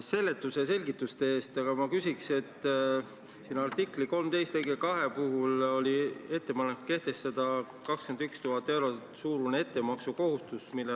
Juhtusin esmaspäeval kuulma teie pinginaabrit siin puldis pidamas tühjale saalile kõnet sellest, kuidas üks välismissioon on suur kolonialistlik akt ja veel midagi.